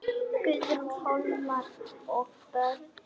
Guðrún, Hólmar og börn.